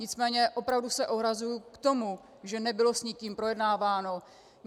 Nicméně opravdu se ohrazuji k tomu, že nebylo s nikým projednáváno.